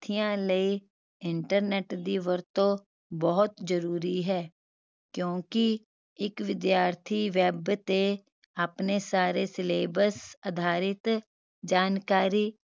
ਥੀਆਂ ਲਈ internet ਦੀ ਵਰਤੋਂ ਬਹੁਤ ਜ਼ਰੂਰੀ ਹੈ ਕਿਓਂਕਿ ਇਕ ਵਿਦਿਆਰਥੀ web ਤੇ ਆਪਣੇ ਸਾਰੇ syllabus ਅਧਾਰਿਤ ਜਾਣਕਾਰੀ